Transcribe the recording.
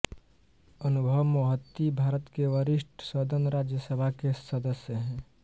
अनुभव मोहंती भारत के वरिष्ठ सदन राज्यसभा के सदस्य हैं